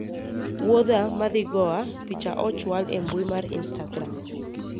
wuodha madhi Goa, picha ochwal e mbui mar instagram